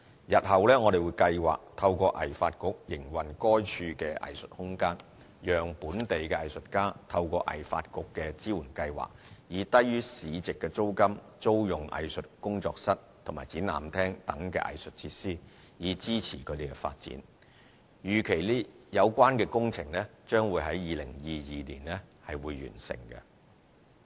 日後我們計劃透過藝發局營運該處的藝術空間，讓本地藝術家透過藝發局的支援計劃，以低於市值租金租用藝術工作室及展覽廳等藝術設施，以支持他們的發展，預期有關工程將會於2022年完成。